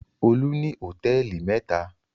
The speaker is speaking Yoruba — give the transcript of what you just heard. Olú ní hòtẹ́ẹ́lì mẹ́ta.